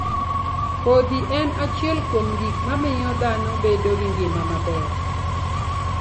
Kodhi en achiel kuom gik mamiyo dhano bedo gi ngima maber.